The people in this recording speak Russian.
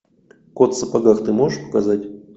кот в сапогах ты можешь показать